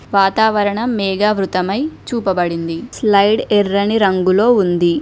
వాతావరణం మేఘవృతమై చూపబడింది స్లయిడ్ ఎర్రని రంగులో ఉంది.